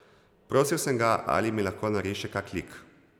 Prosil sem ga, ali mi lahko nariše kak lik.